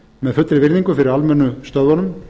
með fullri virðingu fyrir almennu stöðvunum